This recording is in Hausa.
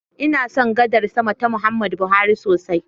Ina son gadar sama ta Muhammadu Buhari sosai.